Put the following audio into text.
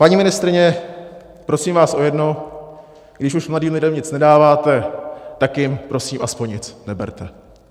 Paní ministryně, prosím vás o jedno: když už mladým lidem nic nedáváte, tak jim prosím aspoň nic neberte.